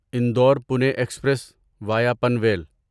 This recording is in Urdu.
Indore Pune express via Panvel